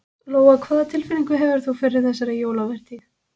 Lóa: Hvað tilfinningu hefur þú fyrir þessari jólavertíð?